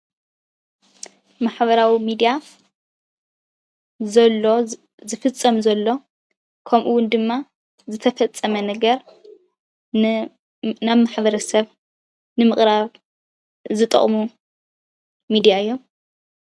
ማሕበራዊ ሚድያ ዘሎን ዝፍፀም ዘሎን ከምኡውን ድማ ዝተፈፀመ ነገር ናብ ማሕበረሰብ ንምቅራብ ዝጠቅሙ ሚድያ እዮም፡፡